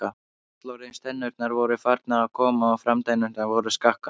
Fullorðins- tennurnar voru farnar að koma og framtennurnar voru skakkar.